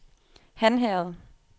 Hanherred